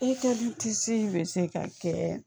bɛ se ka kɛ